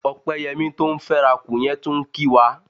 Ọpẹ́yẹmí tó ń fẹ́rakù yẹn tún ń kí wa.